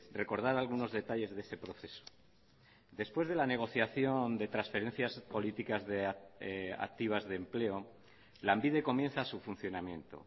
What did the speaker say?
recordar algunos detalles de ese proceso después de la negociación de transferencias políticas activas de empleo lanbide comienza su funcionamiento